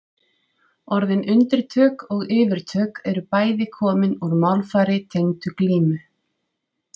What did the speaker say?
Orðin undirtök og yfirtök eru bæði komin úr málfari tengdu glímu.